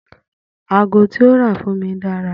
Ago tí ó rà fún mi dára